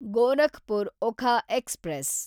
Gorakhpur Okha express